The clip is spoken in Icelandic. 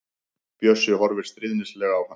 Bjössi horfir stríðnislega á hann.